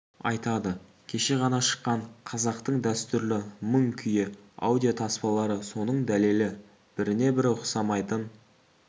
айтады кеше ғана шыққан қазақтың дәстүрлі мың күйі аудио таспалары соның дәлелі біріне бірі ұқсамайтын